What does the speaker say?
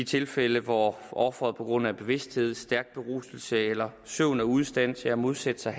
tilfælde hvor offeret på grund af bevidstløshed stærk beruselse eller søvn er ude af stand til at modsætte sig